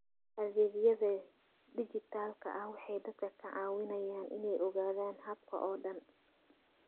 Adeegyada dijitaalka ah waxay dadka ka caawiyaan inay ogaadaan habka oo dhan.